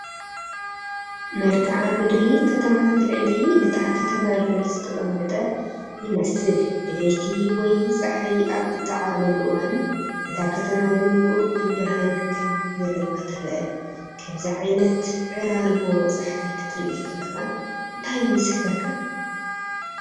መልክዓ ምድሪ ከተማታት ልዕሊ እታ ከተማ ልዑል ዝተቐመጠ ይመስል። (ብለይቲ ወይ ጸሓይ ኣብ እትዓርበሉ እዋን)። እታ ከተማ ግን ቁሩብ ብርሃን ከም ዘለዋ ትረአ። ከምዚ ዓይነት ዕራርቦ ጸሓይ ክትርኢ ከለኻ እንታይ ይስሕበካ?